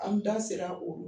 An da sire o ma.